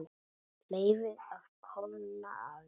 Leyfið að kólna aðeins.